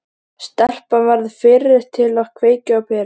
Stelpan verður fyrri til að kveikja á perunni.